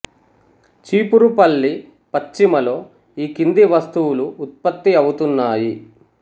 చీపురుపల్లి పశ్చిమ లో ఈ కింది వస్తువులు ఉత్పత్తి అవుతున్నాయి